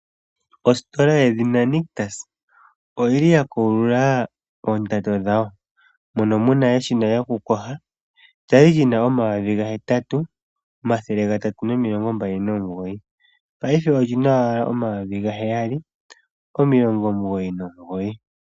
Ositola yedhina Nictus oyi li ya kulula oondando dhawo mono mu na eshina lyokuyoga lya li lyi na omayovi gahetatu omathele gatatu nomilongo mbali nomugoyi mongaashingeyi olyi na owala omayovi gaheyali omilongo omugoyi nomugoyi.